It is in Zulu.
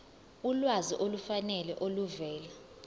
ulwazi olufanele oluvela